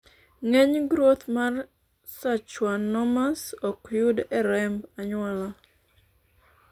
ng'eny groth mar sachwanomas ok yudi e remb anyuola